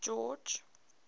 george